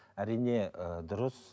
әрине ііі дұрыс